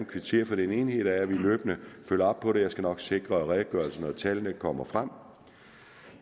kvittere for den enighed der er vi løbende følger op på det og jeg skal nok sikre at redegørelsen og tallene kommer frem